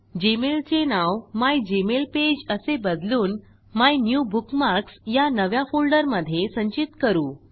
Gmail चे नाव मिगमेलपेज असे बदलून मायन्यूबुकमार्क्स या नव्या फोल्डरमधे संचित करु